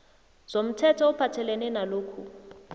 zomthetho ophathelene nalokhu